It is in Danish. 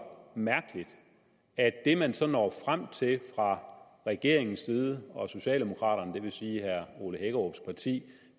mærkeligt at det man så når frem til fra regeringens side og fra socialdemokraterne det vil sige herre ole hækkerups parti